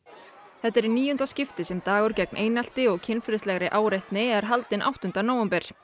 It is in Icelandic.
þetta er í níunda skipti sem dagur gegn einelti og kynferðislegri áreitni er haldinn áttunda nóvember